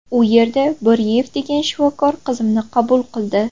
U yerda Bo‘riyev degan shifokor qizimni qabul qildi.